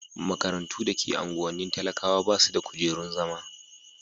makarantu da ke unguwannin talakawa basu da kujerun zama